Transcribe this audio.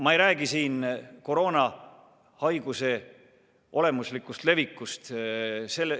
Ma ei räägi siin koroonahaiguse olemuslikust levikust.